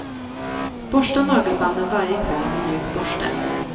Borsta nagelbanden varje kväll med mjuk borste.